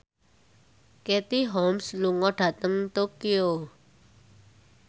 Katie Holmes lunga dhateng Tokyo